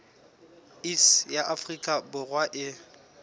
iss ya afrika borwa e